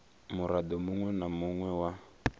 murado munwe na munwe wa